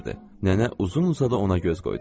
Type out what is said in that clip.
Nənə uzun-uzadı ona göz qoydu.